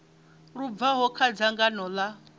lu bvaho kha dzangano ḽa